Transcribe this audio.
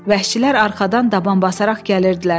Vəhşilər arxadan daban basaraq gəlirdilər.